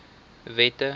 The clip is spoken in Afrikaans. wette